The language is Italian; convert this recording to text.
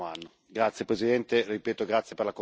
Grazie Presidente, ripeto, grazie per la comprensione.